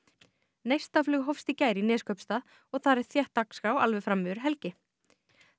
neistaflug hófst í gær í Neskaupstað og þar er þétt dagskrá alveg fram yfir helgi þá